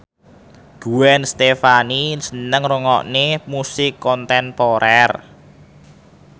Gwen Stefani seneng ngrungokne musik kontemporer